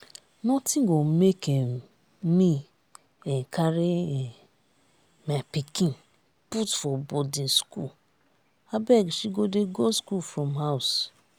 nothing go make um me um carry um my pikin put for boarding school abeg she go dey go school from house